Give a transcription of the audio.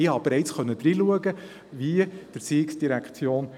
Ich erhielt bereits einen Einblick, wie die ERZ dies umsetzt.